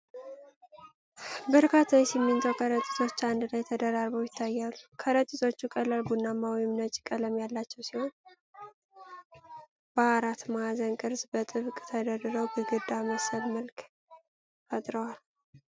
በርካታ የሲሚንቶ ከረጢቶች አንድ ላይ ተደራርበው ይታያሉ። ከረጢቶቹ ቀላል ቡናማ ወይም ነጭ ቀለም ያላቸው ሲሆን፤ በአራት ማዕዘን ቅርፅ በጥብቅ ተደርድረው ግድግዳ መሰል መልክ ፈጥረዋል።